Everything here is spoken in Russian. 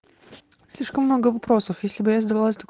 слишком много вопросов если бы я задавалась так